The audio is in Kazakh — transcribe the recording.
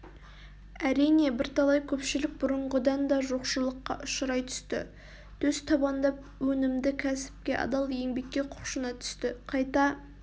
әрине бірталай көпшілік бұрынғыдан да жоқшылыққа ұшырай түсті төстабандап өнімді кәсіпке адал еңбекке құлшына түсті қайта